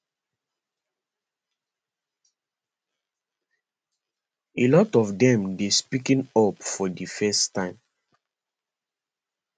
a lot of dem dey speaking up for di first time